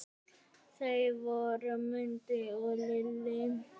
Þau voru Mundi og Lillý.